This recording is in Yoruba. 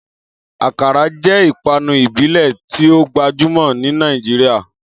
Akara jẹ́ ìpanu ìbílẹ̀ popualr ní Nàìjíríà